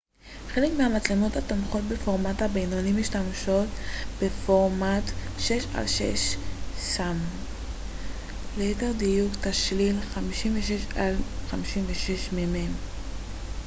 חלק מהמצלמות התומכות בפורמט הבינוני משתמשות בפורמט 6 על 6 ס מ ליתר דיוק תשליל 56 על 56 מ מ